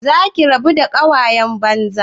Za ki rabu da ƙawayen banza?